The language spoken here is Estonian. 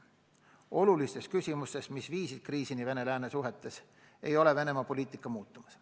Olulistes küsimustes, mis viisid kriisini Vene-lääne suhetes, ei ole Venemaa poliitika muutumas.